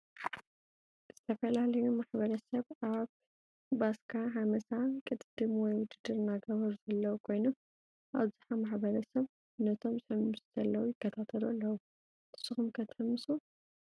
ዝተፈላለዮ ማሕበረሰብ አብ ባሰካ ሐመሳ ቅድድም ወይ ውድድር እናገበሩ ዘለው ኮይኖም አብዝሐ ማሕበረሰብ ነቶም ዝሕምሱ ዘለው ይከታተሉ አለው ። ንሱኩም ከ ትሕምሱ?